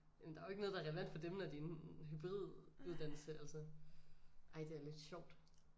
Men der er jo ikke noget der er relevant for dem når det er en hybriduddannelse altså ej det er lidt sjovt